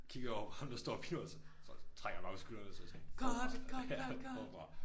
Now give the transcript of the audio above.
Kigger jeg over på ham der står og filmer os så trækker han bare på skuldrene og så jeg sådan forfra ja forfra